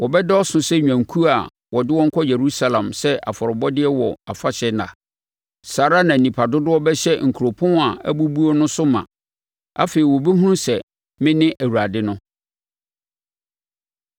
wɔbɛdɔɔso sɛ nnwankuo a wɔde wɔn kɔ Yerusalem sɛ afɔrebɔdeɛ wɔ afahyɛ nna. Saa ara na nnipa dodoɔ bɛhyɛ nkuropɔn a abubuo no so ma. Afei wɔbɛhunu sɛ mene Awurade no.”